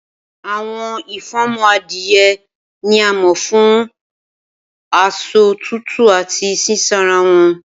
Awọn ifunmọ adie ni a mọ fun asọ tutu ati sisanra wọn.